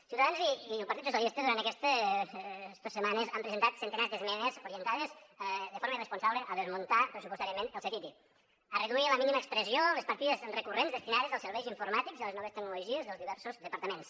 ciutadans i el partit socialistes durant estes setmanes han presentat centenars d’esmenes orientades de forma irresponsable a desmuntar pressupostàriament el ctti a reduir a la mínima expressió les partides recurrents destinades als serveis informàtics i a les noves tecnologies dels diversos departaments